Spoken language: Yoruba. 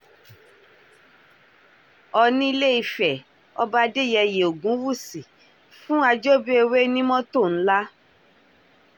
oòní ilé-ìfẹ́ ọba adéyẹyẹ ògúnwúsì fún àjọbífẹ́wé ní mọ́tò ńlá